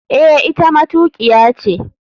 Eh, ita matukiya ce.